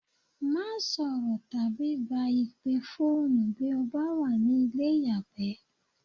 Má sọ̀rọ̀ tàbí gba ìpè fóònù bí o bá wà ní ilé ìyàgbẹ́.